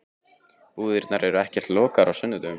Búðirnar eru ekkert lokaðar á sunnudögum.